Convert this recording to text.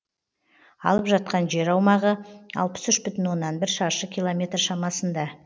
алып жатқан жер аумағы алпыс үш бүтін оннан бір шаршы километр шамасында